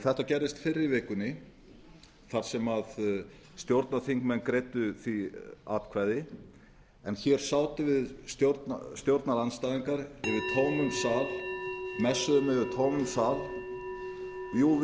þetta gerðist fyrr í vikunni þar sem stjórnarþingmenn greiddu því atkvæði en hér sátum við stjórnarandstæðingar yfir tómum sal messuðum